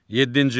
Yeddinci.